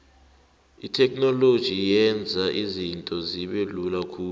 itheknoloji yenza izinto zibelula khulu